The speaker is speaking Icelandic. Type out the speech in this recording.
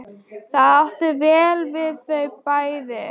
Það átti vel við þau bæði.